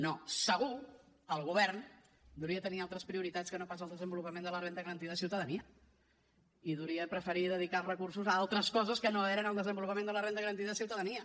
no segur el govern devia tenir altres prioritats que no pas el desenvolupament de la renda garantida de ciutadania i devia preferir dedicar els recursos a altres coses que no eren el desenvolupament de la renda garantida de ciutadania